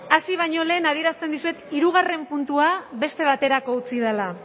hasi baino lehen adierazten dizuet hirugarren puntua beste baterako utzi dela